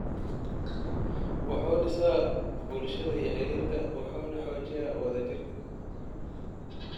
wuxuu dhisaa bulshada iyo xiriirka, wuxuuna xoojiyaa wadajirka.